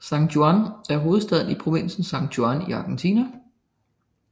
San Juan er hovedbyen i provinsen San Juan i Argentina